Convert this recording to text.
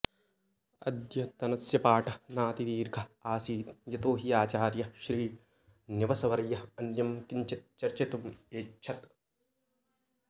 अद्यतनस्य पाठः नाति दीर्घः आसीत् यतो हि आचार्यः श्रीनिवसवर्यः अन्यं किञ्चित् चर्चितुम् एच्छत्